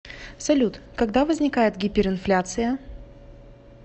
салют когда возникает гиперинфляция